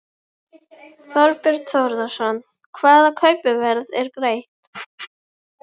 Einna best dæmi um öskugíg er Hverfjall við Mývatn.